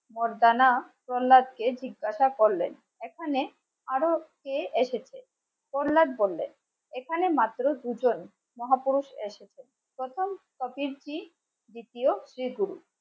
কে জিজ্ঞাসা করলেন এখানে আরো কে এসেছে বললেন এখানে মাত্র দুজন মহাপুরুষ এসেছে প্রথম দ্বিতীয়